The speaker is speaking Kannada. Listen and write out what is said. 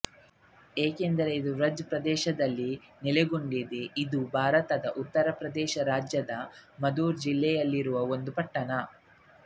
ಏಕೆಂದರೆ ಇದು ಬ್ರಜ್ ಪ್ರದೇಶದಲ್ಲಿ ನೆಲೆಗೊಂಡಿದೆ ಇದು ಭಾರತದ ಉತ್ತರ ಪ್ರದೇಶ ರಾಜ್ಯದ ಮಥುರಾ ಜಿಲ್ಲೆಯಲ್ಲಿರುವ ಒಂದು ಪಟ್ಟಣ